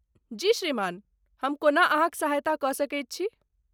जी, श्रीमान, हम कोना अहाँक सहायता कऽ सकैत छी?